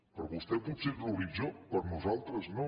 per a vostè potser és l’horitzó per a nosaltres no